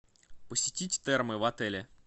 посетить термы в отеле